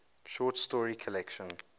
short story collection